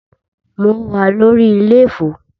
Mo wà lórí iléfo.